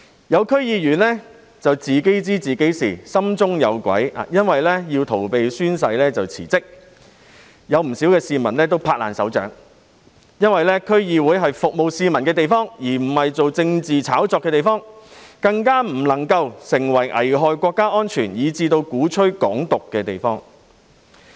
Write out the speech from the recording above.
有區議員自知心中有鬼，於是為逃避宣誓而辭職，不少市民拍手叫好，因為區議會是服務市民的地方，而不是進行政治炒作的地方，更不能夠成為危害國家安全以至鼓吹"港獨"的地方。